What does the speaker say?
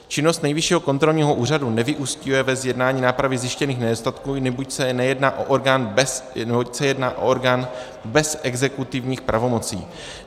Činnost Nejvyššího kontrolního úřadu nevyúsťuje ve zjednání nápravy zjištěných nedostatků, neboť se jedná o orgán bez exekutivních pravomocí.